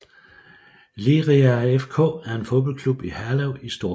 Liria FK er en fodboldklub i Herlev i Storkøbenhavn